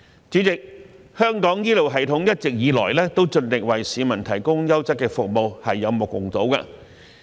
主席，香港醫療系統一直以來都盡力為市民提供優質的服務，是有目共睹的。